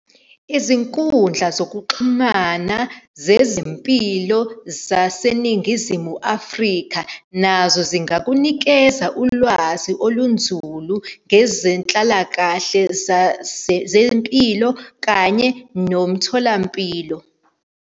Izinkundla zokuxhumana zezempilo zaseNingizimu Afrika, nazo zingakunikeza ulwazi olunzulu ngezenhlalakahle zempilo kanye nomtholampilo.